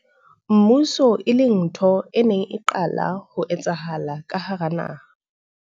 mmuso, e leng ntho e neng e qala ho etsahala ka hara naha.